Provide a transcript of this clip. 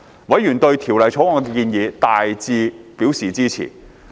委員對《條例草案》的建議大致表示支持。